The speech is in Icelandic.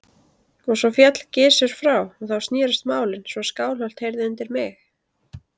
Og svo féll Gizur frá og þá snerust málin svo að Skálholt heyrði undir mig.